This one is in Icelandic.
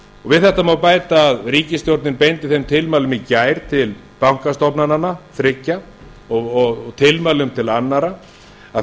við þetta má bæta að ríkisstjórnin beindi þeim tilmælum í gær til bankastofnananna þriggja og tilmælum til annarra að